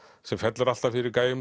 sem fellur alltaf fyrir